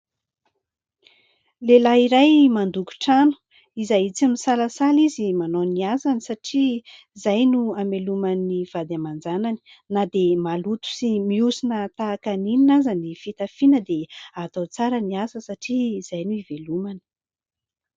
Lehilahy iray mandoko trano izay tsy misalasala izy manao ny asany satria izay no amelomany ny vady aman-janany. Na dia maloto sy miosona tahaka ny inona aza ny fitafiana dia atao tsara ny asa satria izay no ivelomana.